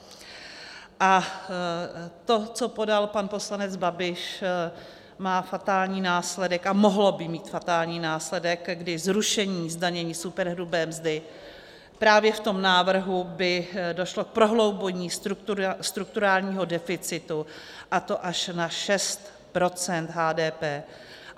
A to, co podal pan poslanec Babiš, má fatální následek, a mohlo by mít fatální následek, kdy zrušením zdanění superhrubé mzdy právě v tom návrhu by došlo k prohloubení strukturálního deficitu, a to až na 6 % HDP.